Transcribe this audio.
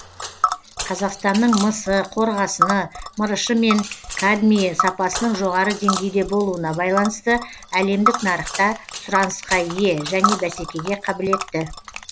қазақстанның мысы қорғасыны мырышы мен кадмийі сапасының жоғары деңгейде болуына байланысты әлемдік нарықта сұранысқа ие және бәсекеге қабілетті